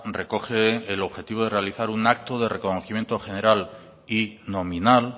recoge el objetivo de realizar un acto de reconocimiento general y nominal